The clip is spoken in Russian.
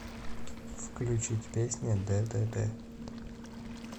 включить песня дэдэдэ